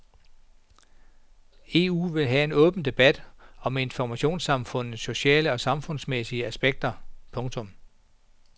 EU vil have en åben debat om informationssamfundets sociale og samfundsmæssige aspekter. punktum